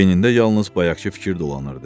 Beynində yalnız bayaqkı fikir dolanırdı.